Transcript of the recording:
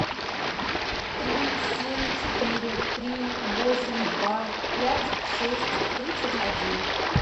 три семь четыре три восемь два пять шесть тридцать один